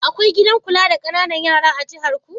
Akwai gidan kula da ƙananan yara da jiharku?